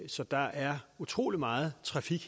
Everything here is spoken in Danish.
så der er utrolig meget trafik